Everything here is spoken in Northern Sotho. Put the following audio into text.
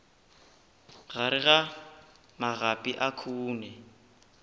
gare ga magapi a khoune